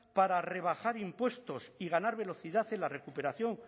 para rebajar impuestos y ganar velocidad en la recuperación